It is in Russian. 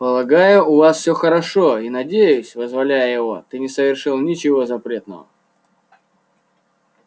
полагаю у вас все хорошо и надеюсь вызволяя его ты не совершил ничего запретного